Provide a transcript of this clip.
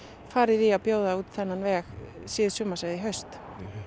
farið í að bjóða út þennan veg síðsumars eða í haust